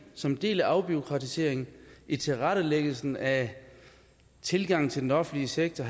som en del af afbureaukratiseringen i tilrettelæggelsen af tilgangen til den offentlige sektor